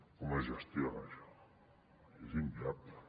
com es gestiona això és inviable